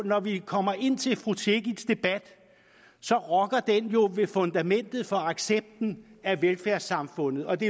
når vi kommer ind til fru cekics debat rokker den jo ved fundamentet for accepten af velfærdssamfundet og det